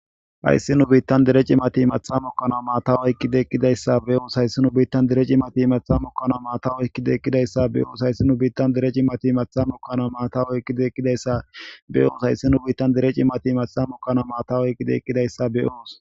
Hayssi nu biittan dere cimati matha mukkana maatawoyqqide eqqidayssa be'oos hayssi nu biittan dere cimati mathamukkana maatawoykkide eqqidayssa be7oos hayssi nu biittan dere cimati mathamukkana maatawoykkide eqqidayssa beyoos hayssi nu biittan dere cimati matha mukkana maata oyqqide eqqidayssa be'oos.